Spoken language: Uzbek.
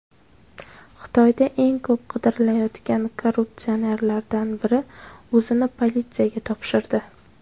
Xitoyda eng ko‘p qidirilayotgan korrupsionerlardan biri o‘zini politsiyaga topshirdi.